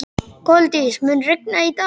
Koldís, mun rigna í dag?